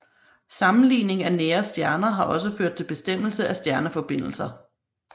Sammenligning af nære stjerner har også ført til bestemmelse af stjerneforbindelser